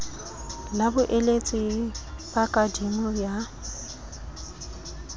la boeletsi ba kadimo ya